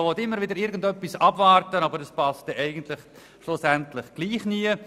Man will immer wieder irgendetwas abwarten, aber es passt schlussendlich trotzdem nie.